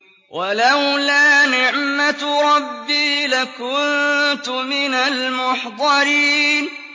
وَلَوْلَا نِعْمَةُ رَبِّي لَكُنتُ مِنَ الْمُحْضَرِينَ